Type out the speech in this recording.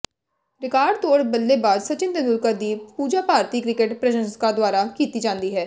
record ਤੋੜ ਬੱਲੇਬਾਜ਼ ਸਚਿਨ ਤੇਂਦੁਲਕਰ ਦੀ ਪੂਜਾ ਭਾਰਤੀ ਕ੍ਰਿਕਟ ਪ੍ਰਸ਼ੰਸਕਾਂ ਦੁਆਰਾ ਕੀਤੀ ਜਾਂਦੀ ਹੈ